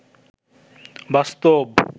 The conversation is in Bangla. বাস্তব